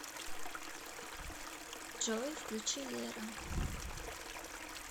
джой включи лера